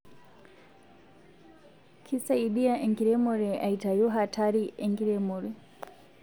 Kisaidia enkiremore aitayu hatarii enkiremore